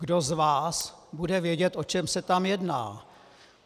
Kdo z vás bude vědět, o čem se tam jedná?